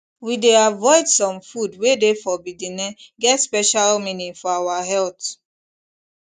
we dey avoid some food wey de forbiddene get special meaning for our health